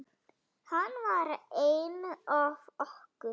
Hann var einn af okkur.